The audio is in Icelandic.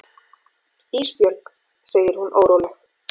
Ísbjörg, segir hún óróleg.